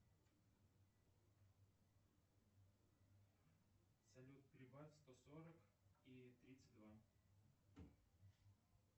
салют прибавь сто сорок и тридцать два